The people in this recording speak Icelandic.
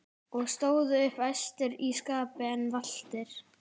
og stóðu upp æstir í skapi en valtir.